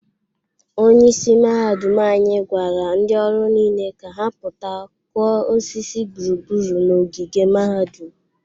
Onyeisi mahadum anyị gwara ndị ọrụ niile ka ha pụta kụọ osisi gburugburu ogige mahadum.